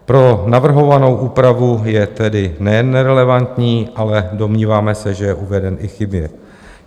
Pro navrhovanou úpravu je tedy nejen nerelevantní, ale domníváme se, že je uveden i chybně.